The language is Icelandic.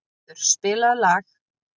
Húngerður, spilaðu lag.